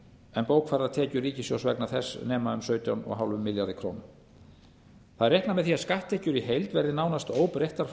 en bókfærðar tekjur ríkissjóðs vegna þess nema um sautján komma fimm milljörðum króna það er reiknað með því að skatttekjur í heild verði nánast óbreyttar frá